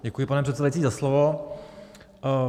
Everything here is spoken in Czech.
Děkuji, pane předsedající, za slovo.